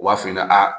U b'a f'i ɲɛna a